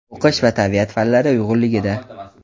o‘qish va tabiat fanlari uyg‘unligida);.